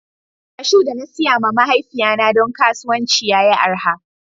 Kashu da na siya ma mahaifiya na don kasuwanci ya yi araha.